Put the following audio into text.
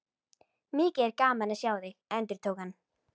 Mikið er gaman að sjá þig, endurtók hann.